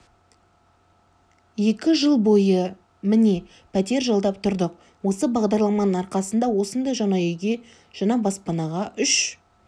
екі жыл бойы міне пәтер жалдап тұрдық осы бағдарламаның арқасында осындай жаңа үйге жаңа баспанаға үш